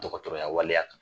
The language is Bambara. Dɔgɔtɔrɔya waleya kan